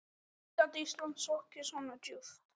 Hvernig gat Ísland sokkið svo djúpt?